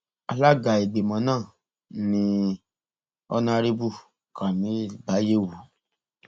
alága ìgbìmọ náà ni honarebu kamil baiyewu